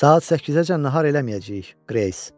Saat səkkizəcən nahar eləməyəcəyik, Qreys.